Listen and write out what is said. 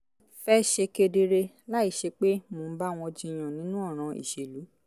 fẹ́ ṣe kedere láìsí pé mò ń bá wọn jiyàn nínú ọ̀ràn ìṣèlú